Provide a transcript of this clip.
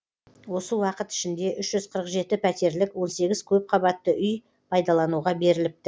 осы уақыт ішінде үш жүз қырық жеті пәтерлік он сегіз көпқабатты үй пайдалануға беріліпті